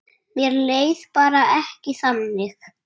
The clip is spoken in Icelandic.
Mér leið bara ekki þannig.